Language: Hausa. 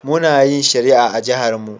Muna yin shari'a a jiharmu.